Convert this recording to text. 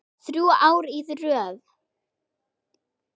Þrjú ár í röð?